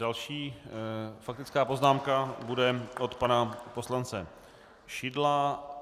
Další faktická poznámka bude od pana poslance Šidla.